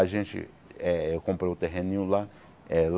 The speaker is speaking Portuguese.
A gente eh eu comprei um terreninho lá. Eh